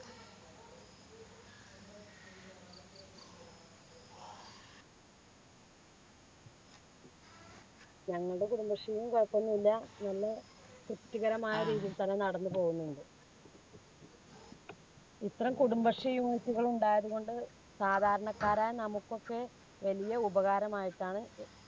ഞങ്ങൾടെ കുടുംബശ്രീയും കുഴപ്പമൊന്നുമില്ല. നല്ല തൃപ്‌തികരമായ രീതിയിൽ തന്നെ നടന്നുപോകുന്നുണ്ട്. ഇത്തരം കുടുംബശ്രീ unit കള് ഉണ്ടായതുകൊണ്ട് സാധാരണക്കാരായ നമുക്കൊക്കെ വലിയ ഉപകാരമായിട്ടാണ്